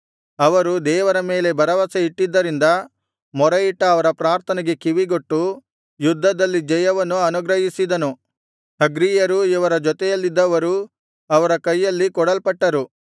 ಅವರು ದೇವರ ಮೇಲೆ ಭರವಸೆ ಇಟ್ಟಿದ್ದರಿಂದ ಮೊರೆಯಿಟ್ಟ ಅವರ ಪ್ರಾರ್ಥನೆಗೆ ಕಿವಿಗೊಟ್ಟು ಯುದ್ಧದಲ್ಲಿ ಜಯವನ್ನು ಅನುಗ್ರಹಿಸಿದನು ಹಗ್ರೀಯರೂ ಇವರ ಜೊತೆಯಲ್ಲಿದ್ದವರೂ ಅವರ ಕೈಯಲ್ಲಿ ಕೊಡಲ್ಪಟ್ಟರು